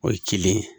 O ye cilen ye